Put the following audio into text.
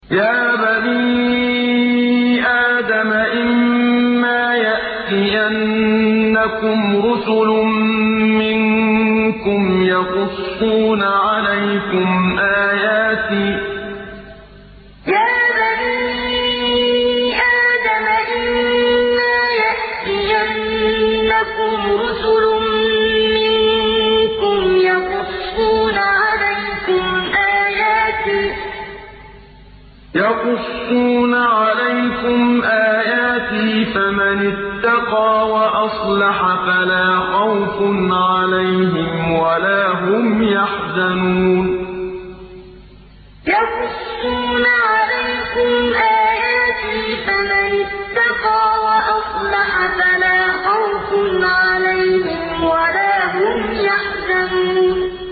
يَا بَنِي آدَمَ إِمَّا يَأْتِيَنَّكُمْ رُسُلٌ مِّنكُمْ يَقُصُّونَ عَلَيْكُمْ آيَاتِي ۙ فَمَنِ اتَّقَىٰ وَأَصْلَحَ فَلَا خَوْفٌ عَلَيْهِمْ وَلَا هُمْ يَحْزَنُونَ يَا بَنِي آدَمَ إِمَّا يَأْتِيَنَّكُمْ رُسُلٌ مِّنكُمْ يَقُصُّونَ عَلَيْكُمْ آيَاتِي ۙ فَمَنِ اتَّقَىٰ وَأَصْلَحَ فَلَا خَوْفٌ عَلَيْهِمْ وَلَا هُمْ يَحْزَنُونَ